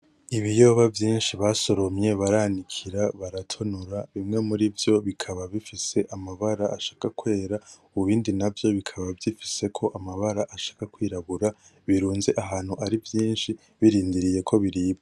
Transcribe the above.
Ibiyoba vyinshi basoromye baranikira baratonora, bimwe muri vyo bikaba bifise amabara ashaka kwera, ibindi navyo bikaba vyifiseko amabara ashaka kwirabura, birunze ahantu ari vyinshi birindiriye ko biribwa.